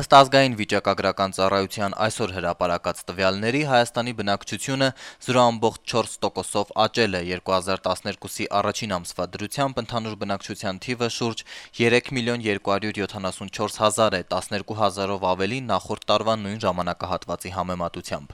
Ըստ Ազգային վիճակագրական ծառայության (ԱՎԾ) այսօր հրապարակած տվյալների, Հայաստանի բնակչությունը 0.4 տոկոսով աճել է: 2012-ի առաջին ամսվա դրությամբ ընդհանուր բնակչության թիվը շուրջ 3 միլիոն 274 հազար է, 12 հազարով ավելի նախորդ տարվա նույն ժամանակահատվածի համեմատությամբ: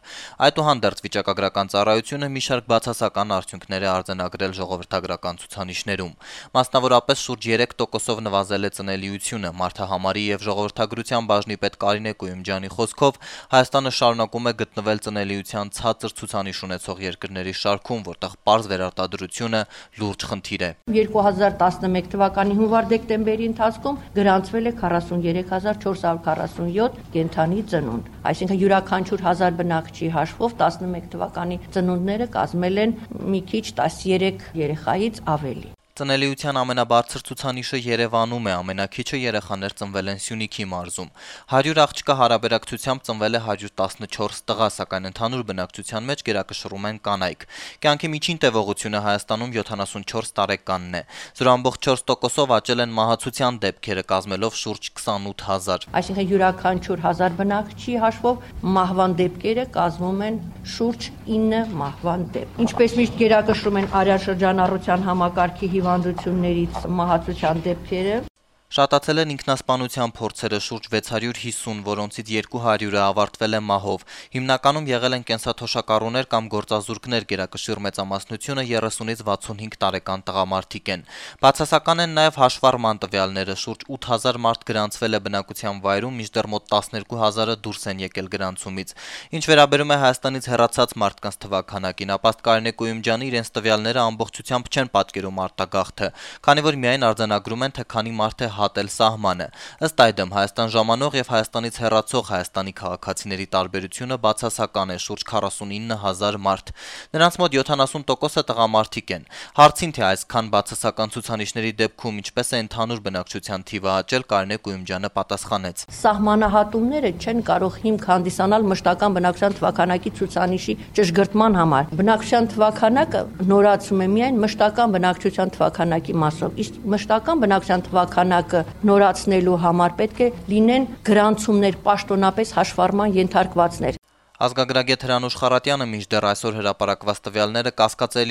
Այդուհանդերձ, ԱՎԾ-ն մի շարք բացասական արդյունքներ է արձանագրել ժողովրդագրական ցուցանիշներում, մասնավորապես շուրջ 3 տոկոսով նվազել է ծնելիությունը: ԱՎԾ-ի Մարդահամարի եւ ժողովրդագրության բաժնի պետ Կարինե Կույումջյանի խոսքով, Հայաստանը շարունակում է գտնվել ծնելիության ցածր ցուցանիշ ունեցող երկրների շարքում, որտեղ պարզ վերարտադրությունը լուրջ խնդիր է: «2011 թվականի հունվար-դեկտեմբերի ընթացքում գրանցվել է 43 447 կենդանի ծնունդ, այսինքն յուրաքանչյուր 1000 բնակչի հաշվով 2011 թվականի ծնունդները կազմել են 13 երեխայից մի քիչ ավելի», - ասաց Կույումջյանը: Ծնելիության ամենաբարձր ցուցանիշը Երեւանում է, ամենաքիչը երեխաներ ծնվել են Սյունիքի մարզում: 100 աղջկա հարաբերակցությամբ ծնվել է 114 տղա, սակայն ընդհանուր բնակչության մեջ գերակշռում են կանայք: Կյանքի միջին տեւողությունը Հայաստանում 74 տարեկանն է: 0.4 տոկոսով աճել են մահացության դեպքերը` կազմելով շուրջ 28 հազար: Շատացել են ինքնասպանության փորձերը` մոտ 650, որոնցից 200 ավարտվել է մահով: Ինքնասպան են եղել հիմնականում կենսաթոշակառուները կամ գործազուրկները` գերակշիռ մեծամասնությունը 30-ից 65 տարեկան տղամարդիկ են: Բացասական են նաեւ հաշվառման տվյալները. շուրջ 8 հազար մարդ գրանցվել է բնակության վայրում, մինչդեռ մոտ 12 հազարը դուրս են եկել գրանցումից: Ինչ վերաբերում է Հայաստանից հեռացած մարդկանց թվաքանակին, ապա, ըստ Կարինե Կույումջյանի, իրենց տվյալները ամբողջությամբ չեն պատկերում արտագաղթը, քանի որ միայն արձանագրում են, թե քանի մարդ է հատել սահմանը: Ըստ այդմ Հայաստան ժամանող եւ Հայաստանից հեռացող Հայաստանի քաղաքացիների տարբերությունը բացասական է` մոտ 49 հազար մարդ: Նրանց մոտ 70 տոկոսը տղամարդիկ են: Հարցին, թե այսքան բացասական ցուցանիշների դեպքում ինչպես ընդհանուր բնակչության թիվը աճել, Կարինե Կույումջյանը պատասխանեց. - «Սահմանահատումները չեն կարող հիմք հանդիսանալ մշտական բնակչության քանակի ցուցանիշի ճշգրտման համար: Բնակչության թվաքանակը նորացվում է միայն մշտական բնակչության թվաքանակի մասով, իսկ մշտական բնակչության թվաքանակը նորացնելու համար պետք է լինեն գրանցումներ, պաշտոնապես հաշվառման ենթարկվածներ»: Ազգագրագետ Հրանուշ Խառատյանը կասկածելի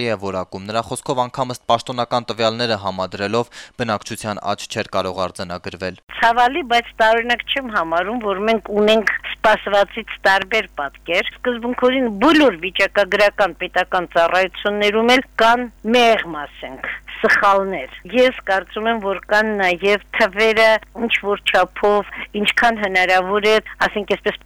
է որակում այսօր հրապարակված տվյալները: Նրա խոսքով` անգամ պաշտոնական տվյալները համադրելով բնակչության աճ չէր կարող արձանագրվել: «Ցավալի է, բայց տարօրինակ չեմ համարում, որ մենք ունենք սպասվածից տարբեր պատկեր, սկզբունքորեն բոլոր պետական վիճակագրական ծառայություններում էլ կան, մեղմ ասած, սխալներ: Ես կարծում եմ, որ կան նաեւ թվերը ինչքան հնարավոր է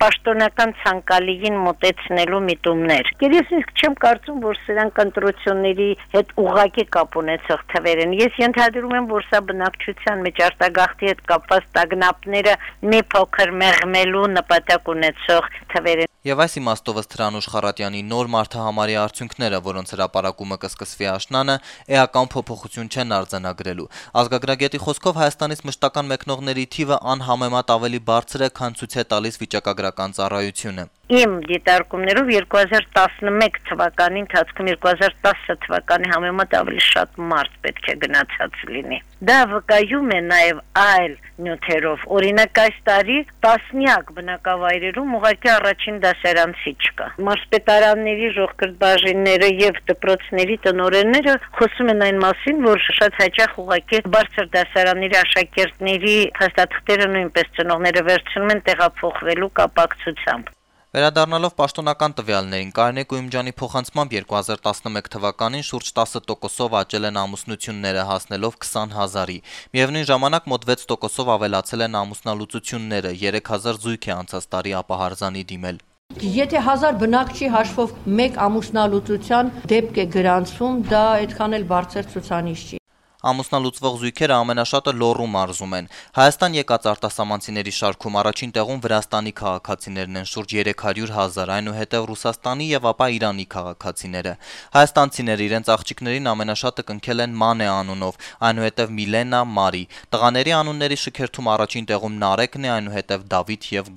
պաշտոնական ցանկալիին մոտեցնելու միտումներ: Ես նույնիսկ չեմ կարծում, որ սրանք ընտրությունների հետ ուղղակի կապ ունեցող թվեր են: Ես ենթադրում եմ, որ սա բնակչության մեջ արտագաղթի հետ կապված տագնապները մի փոքր մեղմելու նպատակ ունեցող թվեր են», - ասաց Խառատյանը: Ըստ Հրանուշ Խառատյանի` նոր մարդահամարի արդյունքները, որոնց հրապարակումը կսկսվի աշնանը, էական փոփոխություն չեն արձանագրելու: Ազգագրագետի խոսքով, Հայաստանից մշտական մեկնողների թիվը անհամեմատ ավելի բարձր է, քան ցույց է տալիս վիճակագրական ծառայությունը: «Իմ դիտարկումներով 2011-ի ընթացքում 2010-ի համեմատ ավելի շատ մարդ պետք է գնացած լինի: Դա վկայում են նաեւ այլ նյութերը, օրինակ, այս տարի տասնյակ բնակավայրերում առաջին դասարանցի չկա, իսկ մարզպետարանների կրթության բաժինները եւ դպրոցների տնօրենները խոսում են այն մասին, որ շատ հաճախ ծնողները վերցնում են բարձր դասարանների աշակերտների փաստաթղթերը` տեղափոխվելու կապակցությամբ», - ասաց ազգագրագետը: Կարինե Կույումջյանի փոխանցմամբ, 2011 թվականին շուրջ 10 տոկոսով աճել են ամուսնությունները` հասնելով 20 հազարի: Միեւնույն ժամանակ մոտ 6 տոկոսով ավելացել են ամուսնալուծությունները, 3 հազար զույգ է անցած տարի ապահարզանի է դիմել: Ամուսնալուծվող զույգերը ամենաշատը Լոռու մարզում են: Հայաստան եկած արտասահմանցիների շարքում առաջին տեղում Վրաստանի քաղաքացիներն են` շուրջ 300 հազար, այնուհետեւ Ռուսաստանի, ապա Իրանի քաղաքացիները: Հայաստանցիները իրենց աղջիկներին ամենաշատը կնքել են Մանե անունով, այնուհետեւ Միլենա, Մարի: Տղաների անունների շքերթում առաջին տեղում Նարեկն է, այնուհետեւ Դավիթը եւ